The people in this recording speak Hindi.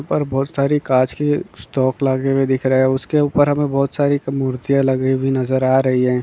यहाँ पर बहुत सारे कांच के स्टॉक लगे दिख रहे है उस के उपर हमें बहुत सारी मुर्तिया नजर आ रही हैं।